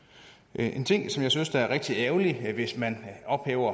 en ting som jeg synes er rigtig ærgerlig hvis man ophæver